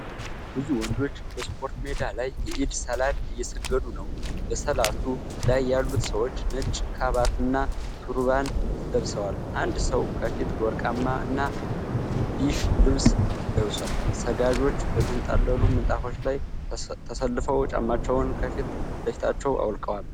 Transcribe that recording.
ብዙ ወንዶች በስፖርት ሜዳ ላይ የኢድ ሰላት እየሰገዱ ነው። በሰላቱ ላይ ያሉት ሰዎች ነጭ ካባና ቱርባን ለብሰዋል። አንድ ሰው ከፊት ወርቃማ እና ቢዥ ልብስ ለብሷል። ሰጋጆች በተንጣለሉ ምንጣፎች ላይ ተሰልፈው ጫማዎቻቸውን ከፊት ለፊታቸው አውልቀዋል።